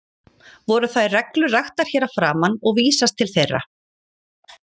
Voru þær reglur raktar hér að framan og vísast til þeirra.